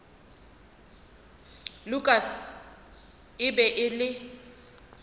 lukas e be e le